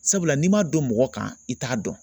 Sabula n'i m'a don mɔgɔ kan i t'a dɔn